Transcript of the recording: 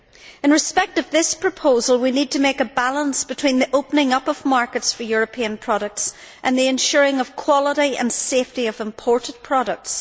In respect of this proposal, we need to strike a balance between the opening up of markets for European products and ensuring the quality and safety of imported products.